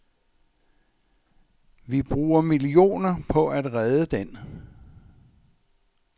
Vi bruger millioner på at redde den.